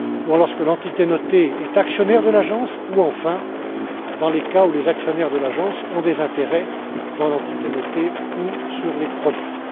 lorsque l'entité notée est actionnaire de l'agence ou, enfin, dans les cas où les actionnaires de l'agence ont des intérêts dans l'entité notée ou les produits.